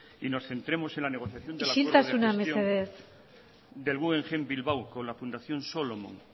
y nos centremos en la negociación isiltasuna mesedez del guggenheim bilbao con la fundación solomon